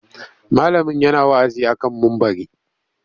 Malamin yana wa'azi a kan mumbari.